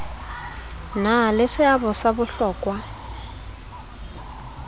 na le seabo sa bohlokwa